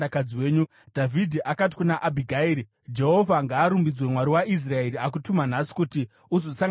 Dhavhidhi akati kuna Abhigairi, “Jehovha ngaarumbidzwe, Mwari waIsraeri, akutuma nhasi kuti uzosangana neni.